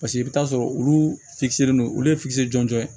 Paseke i bɛ t'a sɔrɔ olu don olu ye jɔnjɔn ye